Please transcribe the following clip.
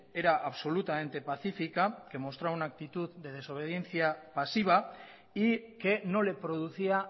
era absolutamente pacífica que mostró una actitud de desobediencia pasiva y que no le producía